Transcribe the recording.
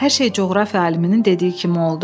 Hər şey coğrafiya aliminin dediyi kimi oldu.